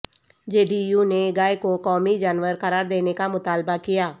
جے D U نے گائے کو قومی جانور قرار دینے کا مطالبہ کیا